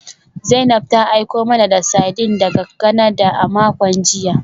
Zainab ta aiko mana da sardines daga Canada a makon jiya